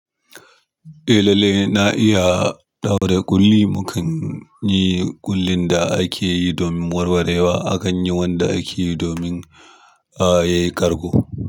Eh lalle na iya ɗaure ƙulli, mukan yi ƙullin da ake yi domin warwarewa, akan yi wanda ake yi domin a yi karko.